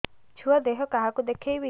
ଛୁଆ ଦେହ କାହାକୁ ଦେଖେଇବି